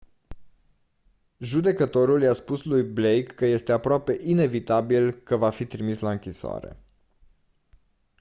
judecătorul i-a spus lui blake că este «aproape inevitabil» că va fi trimis la închisoare.